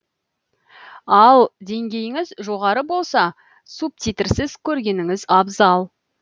ал деңгейіңіз жоғары болса субтитрсіз көргеніңіз абзал